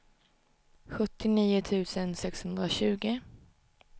sjuttionio tusen sexhundratjugo